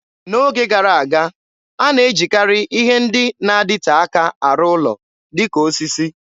N'oge gara aga, a na-ejikarị ihe ndị na-adịte aka arụ ụlọ, dịka osisi.